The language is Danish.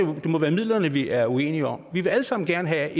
må være midlerne vi er uenige om vi vil alle sammen gerne have